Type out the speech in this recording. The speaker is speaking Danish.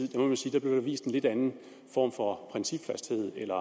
der blev vist en lidt anden form for principfasthed eller